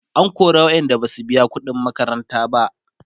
an kora waƴanda Basu biya ƙuɗin makaranta ba